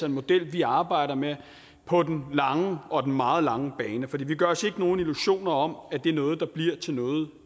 en model vi arbejder med på den lange og den meget lange bane for vi gør os ikke nogen illusioner om at det er noget der bliver til noget